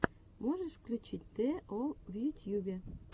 можешь включить тэ о в ютьюбе